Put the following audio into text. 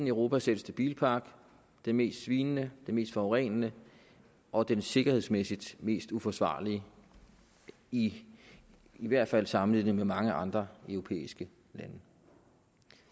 europas ældste bilpark den mest svinende og mest forurenende og den sikkerhedsmæssigt mest uforsvarlige i hvert fald sammenlignet med mange andre europæiske lande